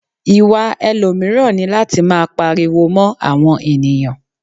Ìwà ẹlòmíràn ni láti máa pariwo mó àwọn ènìyàn.